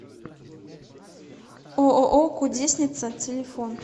ооо кудесница телефон